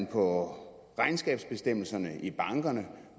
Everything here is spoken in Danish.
på regnskabsbestemmelserne i bankerne